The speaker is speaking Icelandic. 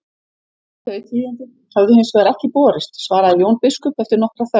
Þau tíðindi höfðu hins vegar ekki borist, svaraði Jón biskup eftir nokkra þögn.